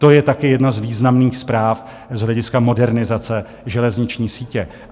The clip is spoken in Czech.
To je taky jedna z významných zpráv z hlediska modernizace železniční sítě.